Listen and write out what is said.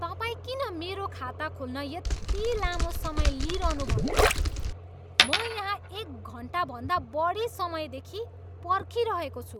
तपाईँ किन मेरो खाता खोल्न यति लामो समय लिइरहनुभएको छ? म यहाँ एक घन्टाभन्दा बढी समयदेखि पर्खिरहेको छु!